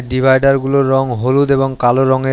Divider -গুলোর রঙ হলুদ এবং কালো রঙের।